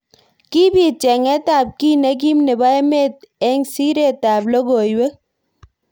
Kibit chenget ab ki nekim nebo emet eng siret ab lokoiwek.